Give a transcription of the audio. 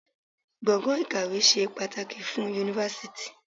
Gbọ̀gàn ìkàwé ṣe pàtàkì fún Yunifásítì.